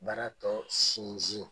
Baara tɔ sinsin.